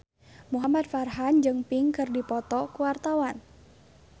Muhamad Farhan jeung Pink keur dipoto ku wartawan